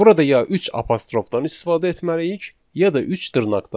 Burada ya üç apostrofdan istifadə etməliyik, ya da üç dırnaqdan.